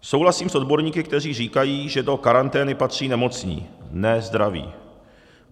Souhlasím s odborníky, kteří říkají, že do karantény patří nemocní, ne zdraví.